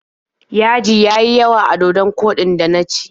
Yaji ya yi yawa a dodon koɗin da na ci.